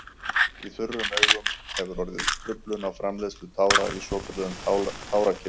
Í þurrum augum hefur orðið truflun á framleiðslu tára í svokölluðum tárakirtlum.